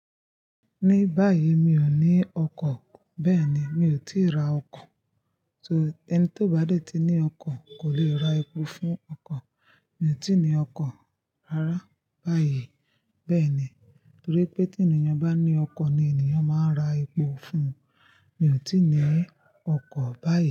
Ní báyìí mi ò ní ọkọ̀, bẹ́ẹ̀ ni, mi ò tíì ra ọkọ̀. So, ẹni tió bá dètí ní ọkọ̀ kò lè ra epo fún ọkọ̀. Mi ò tíì ní ọkọ̀ rárá báyìí. Bẹ́ẹ̀ ni, torí pé tí ènìyàn bá ní ọkọ̀ ni ènìyàn máa ń ra epo fun. Mi ò tíì ní ọkọ̀ báyìí.